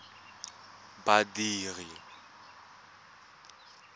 badiri